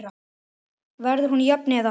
Verður hún jöfn eða?